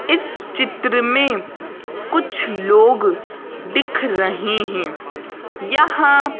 इस चित्र में कुछ लोग दिख रहे हैं यहाँ--